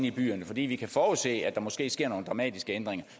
i byerne fordi vi kan forudse at der måske sker nogle dramatiske ændringer